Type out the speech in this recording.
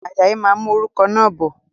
Ajayi máa mú òrùka náà bọ̀